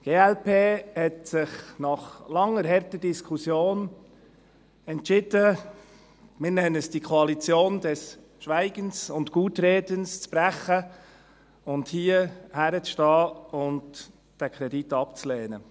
Die glp hat sich nach langer, harter Diskussion entschieden, wir nennen es die «Koalition des Schweigens und Gutredens» zu brechen, und hier hinzustehen und diesen Kredit abzulehnen.